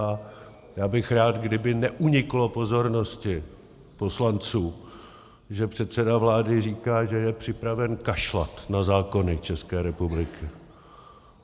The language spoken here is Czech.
A já bych rád, kdyby neuniklo pozornosti poslanců, že předseda vlády říká, že je připraven kašlat na zákony České republiky.